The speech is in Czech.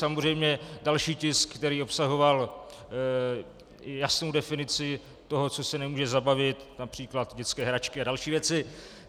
Samozřejmě další tisk, který obsahoval jasnou definici toho, co se nemůže zabavit, například dětské hračky a další věci.